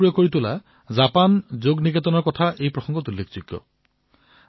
উদাহৰণৰ বাবে জাপান যোগ নিকেতনকেই লওক তেওঁলোকে যোগক সমগ্ৰ জাপানতেই জনপ্ৰিয় কৰি তুলিছে